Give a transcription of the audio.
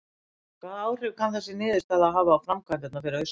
Bryndís: Hvaða áhrif kann þessi niðurstaða að hafa á framkvæmdirnar fyrir austan?